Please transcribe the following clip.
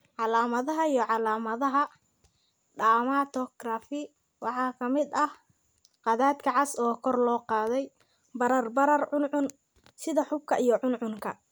Calaamadaha iyo calaamadaha dermatography waxaa ka mid ah khadadka cas oo kor loo qaaday, barar, barar, cuncun sida xuubka iyo cuncunka.